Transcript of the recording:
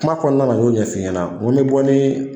Kuma kɔnɔna na n y'o ɲɛfɔ i ɲɛna ko n bɛ bɔ ni